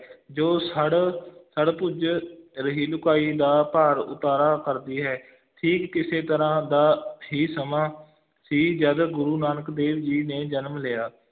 ਜੋ ਸੜ, ਸੜ ਭੁਜ ਰਹੀ ਲੁਕਾਈ ਦਾ ਭਾਰ ਉਤਾਰਾ ਕਰਦੀ ਹੈ ਠੀਕ ਇਸੇ ਤਰ੍ਹਾਂ ਦਾ ਹੀ ਸਮਾਂ ਸੀ ਜਦ ਗੁਰੂ ਨਾਨਕ ਦੇਵ ਜੀ ਨੇ ਜਨਮ ਲਿਆ।